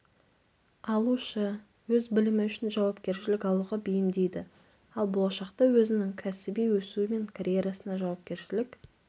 алушы өз білімі үшін жауапкершілік алуға бейімдейді ал болашақта өзінің кәсіби өсуі мен карьерасына жауапкершілік